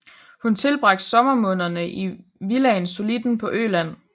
Hun tilbragte sommermånederne i villaen Solliden på Øland